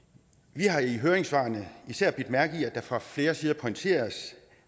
vi har i høringssvarene især bidt mærke i at det fra flere sider pointeres